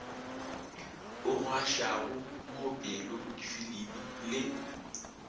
o gašwago moopelo difilimi le